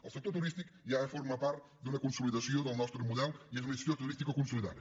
el sector turístic ja forma part d’una consolidació del nostre model i és una destinació turística consolidada